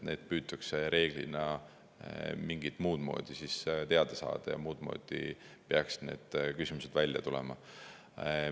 Seda püütakse reeglina mingit muud moodi teada saada ja muud moodi peaksid need küsimused välja tulema.